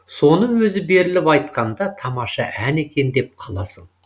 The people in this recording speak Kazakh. соны өзі беріліп айтқанда тамаша ән екен деп қаласың